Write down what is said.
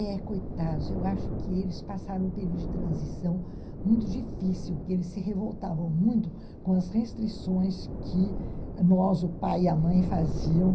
É, coitados, eu acho que eles passaram um período de transição muito difícil, porque eles se revoltavam muito com as restrições que nós, o pai e a mãe, fazíamos